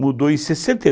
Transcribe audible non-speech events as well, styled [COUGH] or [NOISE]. Mudou em sessenta e [UNINTELLIGIBLE]